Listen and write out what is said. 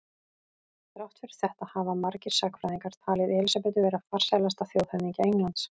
Þrátt fyrir þetta hafa margir sagnfræðingar talið Elísabetu vera farsælasta þjóðhöfðingja Englands.